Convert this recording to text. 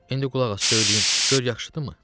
İndi qulaq as, söyləyim, gör yaxşıdırmı?